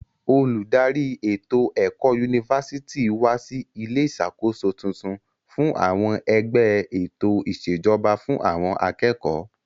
Olùdarí ètò ẹ̀kọ́ yunifásítì wa sí ilé ìṣàkóso tuntun fún àwọn ẹgbẹ́ ètò ìṣèjọba fún àwọn akẹ́kọ̀ọ́.